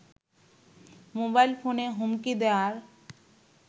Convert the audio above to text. mobile ফোনে হুমকি দেয়ার